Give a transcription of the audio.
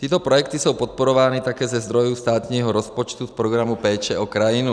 Tyto projekty jsou podporovány také ze zdrojů státního rozpočtu v Programu péče o krajinu.